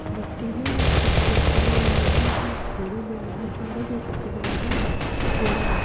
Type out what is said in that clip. मिट्टी है कुछ लोग खड़े हुए है जो एक घोड़े में आदमी जा रहा है वो सफ़ेद रंग का घोडा है।